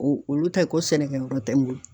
O olu ta ye ko sɛnɛkɛyɔrɔ tɛ n bolo.